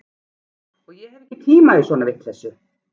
Og ég hef ekki tíma í svona vitleysu